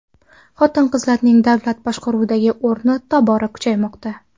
Xotin-qizlarning davlat boshqaruvidagi o‘rni tobora kuchaymoqda.